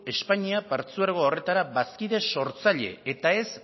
espainia partzuergo horretara bazkide sortzaile eta ez